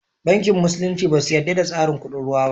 Banki musulunci ba su yadda da tsarin kuɗin ruwa ba